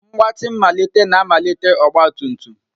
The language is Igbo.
Mgbatị mmalite na-amalite ọgba tum tum.